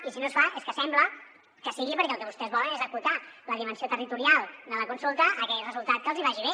i si no es fa és que sembla que sigui perquè el que vostès volen és acotar la dimensió territorial de la consulta a aquell resultat que els hi vagi bé